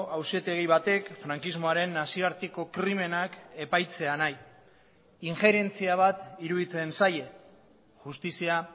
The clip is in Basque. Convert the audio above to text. auzitegi batek frankismoaren nazioarteko krimenak epaitzea nahi injerentzia bat iruditzen zaie justizia